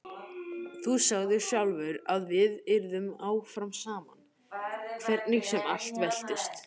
Þú sagðir sjálfur að við yrðum áfram saman hvernig sem allt veltist.